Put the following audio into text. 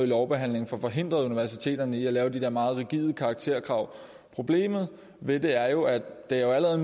lovbehandlingen får forhindret universiteterne i at lave de der meget rigide karakterkrav problemet ved det er jo at det allerede